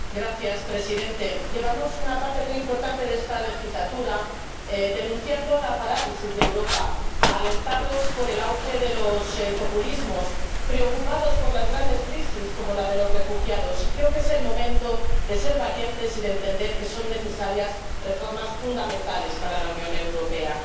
Señor presidente, llevamos una parte muy importante de esta legislatura denunciando la parálisis de Europa, alertados por el auge de los populismos, preocupados por las grandes crisis, como la de los refugiados, y creo que es el momento de ser valientes y de entender que son necesarias reformas fundamentales para la Unión Europea.